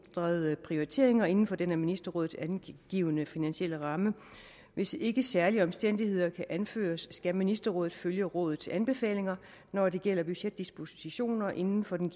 ændrede prioriteringer inden for den af ministerrådet angivne finansielle ramme hvis ikke særlige omstændigheder kan anføres skal ministerrådet følge rådets anbefalinger når det gælder budgetdispositioner inden for den